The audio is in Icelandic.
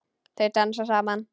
Þau dansa saman.